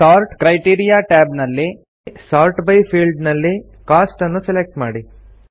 sort criteria tab ನಲ್ಲಿ sort by field ನಲ್ಲಿ cost ನ್ನು ಸೆಲೆಕ್ಟ್ ಮಾಡಿ